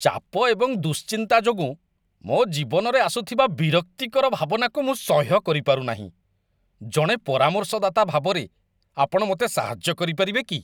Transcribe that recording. ଚାପ ଏବଂ ଦୁଶ୍ଚିନ୍ତା ଯୋଗୁଁ ମୋ ଜୀବନରେ ଆସୁଥିବା ବିରକ୍ତିକର ଭାବନାକୁ ମୁଁ ସହ୍ୟ କରିପାରୁନାହିଁ, ଜଣେ ପରାମର୍ଶଦାତା ଭାବରେ, ଆପଣ ମୋତେ ସାହାଯ୍ୟ କରିପାରିବେ କି?